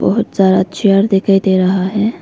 बहोत सारा चेयर दिखाई दे रहा है।